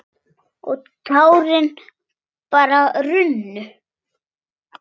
Og tárin bara runnu.